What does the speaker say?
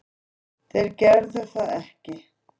Þeir gerðu það ekki